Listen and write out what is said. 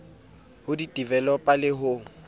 ho di developer le ho